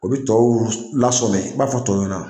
O bɛ tɔw lasɔmɛ, i b'a fɔ tɔw ɲɛ na